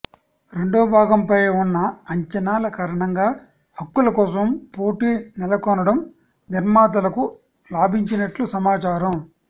రెండో భాగంపై ఉన్న అంచనాల కారణంగా హక్కుల కోసం పోటీ నెలకొనడం నిర్మాతలకు లాభించినట్లు సమాచారం